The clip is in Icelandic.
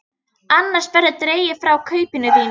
Annars verður dregið frá kaupinu þínu.